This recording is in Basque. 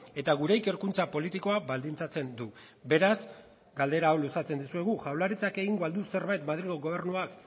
eta gure ikerkuntza politikoa baldintzatzen du beraz galdera hau luzatzen dizuegu jaurlaritzak egingo al du zerbait madrilgo gobernuak